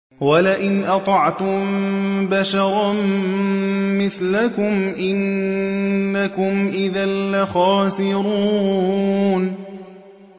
وَلَئِنْ أَطَعْتُم بَشَرًا مِّثْلَكُمْ إِنَّكُمْ إِذًا لَّخَاسِرُونَ